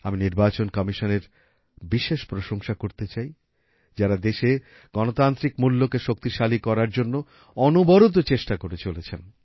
আমি নির্বাচন কমিশনের বিশেষ প্রশংসা করতে চাই যারা দেশে গণতান্ত্রিক মূল্যকে শক্তিশালী করার জন্য অনবরত চেষ্টা করে চলেছেন